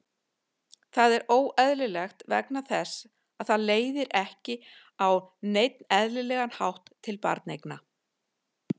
Það er óeðlilegt vegna þess að það leiðir ekki á neinn eðlilegan hátt til barneigna.